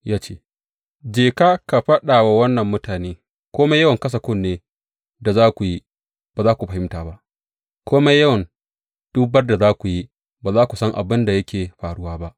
Ya ce, Je ka ka faɗa wa wannan mutane, Kome yawan kasa kunne da za ku yi, ba za ku fahimta ba; Kome yawan dubar da za ku yi, ba za ku san abin da yake faruwa ba.’